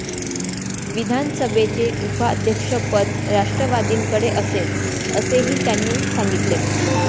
विधानसभेचे उपाध्यक्षपद राष्ट्रवादीकडे असेल, असेही त्यांनी सांगितले.